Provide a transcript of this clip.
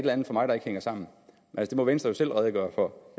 andet for mig der ikke hænger sammen det må venstre jo selv redegøre for